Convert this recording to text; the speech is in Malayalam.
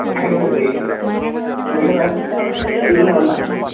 *നോട്ട്‌ ക്ലിയർ* അതായത് ചോദിച്ചതെ ഒള്ളു.